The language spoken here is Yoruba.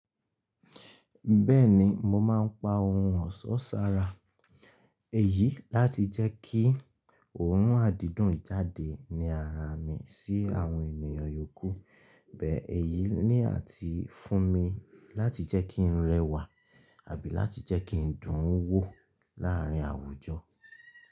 Bẹ́ẹ̀ni, mo máa n pa ohun ọ̀sọ́ sára. Èyí láti jẹ́kí òórùn àdídùn jáde ní ara mi sí àwọn ènìyàn yòókù. Bẹ́ẹ̀ èyí ní à ti fún mi láti jẹ́ kín rẹwà àbí láti jẹ́ kín dùn ún wò láàárín àwùjọ.